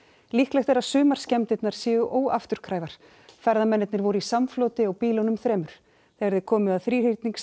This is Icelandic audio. líklegt er að sumar skemmdirnar séu óafturkræfar ferðamennirnir voru í samfloti á bílunum þremur þegar þeir komu að